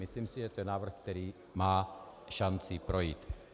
Myslím si, že to je návrh, který má šanci projít.